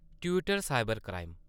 Twitter cyber crime